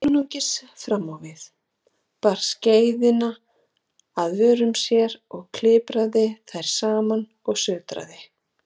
Laut einungis framávið, bar skeiðina að vörum sér, kipraði þær saman og sötraði.